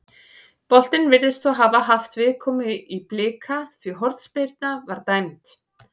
Boltinn virðist þó hafa haft viðkomu í Blika því hornspyrna var dæmd.